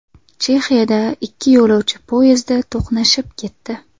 Chexiyada ikki yo‘lovchi poyezdi to‘qnashib ketdi .